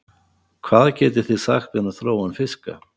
Hvað getið þið sagt mér um þróun fiska?